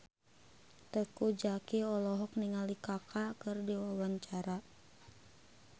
Teuku Zacky olohok ningali Kaka keur diwawancara